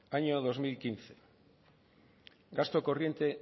año dos mil quince gasto corriente